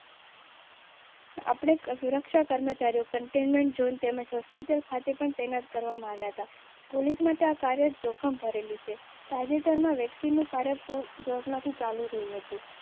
આપની સુરક્ષા કર્મચારીઓ કન્ટેઈનમેન્ટ ઝોન તેમજ હોસ્પિટલ ખાતે પણ તૈનાત કરવામાં આવ્યા હતા. પોલીસ મોટા કાર્ય જોખમ ભરેલું છે. તાજેતરમાં વેક્સિનનું કાર્ય પૂર્ણ.